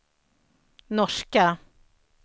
norska